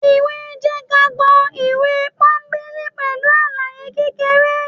ìwé jẹ́kágbọ́ ìwé pọ́nńbélé pẹlu alàyé kékeré